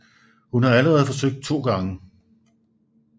Hun har allerede forsøgt to gange